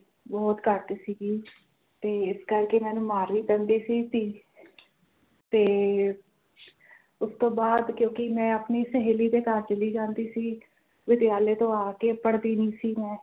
ਬੋਹੋਤ ਘੱਟ ਸੀਗੀ ਤੇ ਇਸ ਕਰਕੇ ਮੈਨੂੰ ਮਾਰ ਵੀ ਪੈਂਦੀ ਸੀ ਤੇ ਉਸ ਤੋਂ ਬਾਦ ਕਿਉਕਿ ਮੈਂ ਆਪਣੀ ਸਹੇਲੀ ਦੇ ਘਰ ਚਲੀ ਜਾਂਦੀ ਸੀ ਵਿਦਿਆਲਿਆ ਤੋਂ ਆਕੇ ਪੜ੍ਹਦੀ ਨਹੀਂ ਸੀ ਮੈਂ